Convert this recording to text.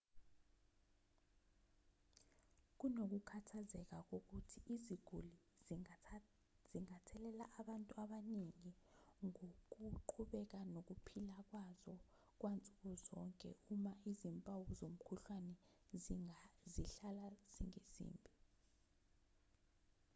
kunokukhathazeka kokuthi iziguli zingathelela abantu abaningi ngokuqhubeka nokuphila kwazo kwansuku zonke uma izimpawu zomkhuhlane zihlala zingezimbi